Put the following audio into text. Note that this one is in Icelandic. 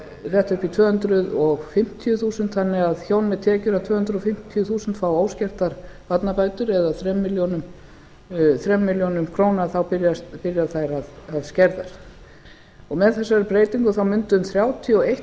þetta upp í tvö hundruð fimmtíu þúsund þannig ef hjón með tekjur að tvö hundruð fimmtíu þúsund fá óskertar barnabætur eða þrjár milljónir króna þá byrja þær að skerðast með þessari breytingu mundu um þrjátíu og einn